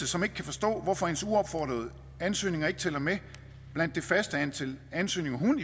som ikke kan forstå hvorfor hendes uopfordrede ansøgninger ikke tæller med blandt det faste antal ansøgninger hun